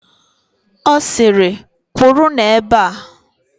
Ọ sịrị, "kwụrụnụ ebe a"!